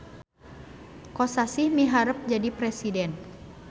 Kosasih miharep jadi presiden